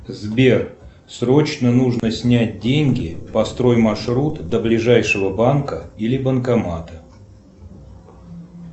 сбер срочно нужно снять деньги построй маршрут до ближайшего банка или банкомата